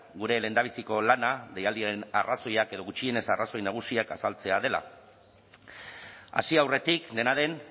gure lehendabiziko lana deialdiaren arrazoiak edo gutxienez arrazoi nagusiak azaltzea dela hasi aurretik dena den